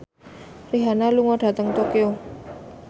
Rihanna lunga dhateng Tokyo